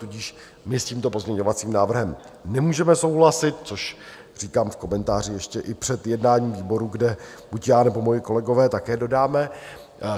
Tudíž my s tímto pozměňovacím návrhem nemůžeme souhlasit, což říkám v komentáři ještě i před jednáním výboru, kde buď já, nebo moji kolegové také dodáme.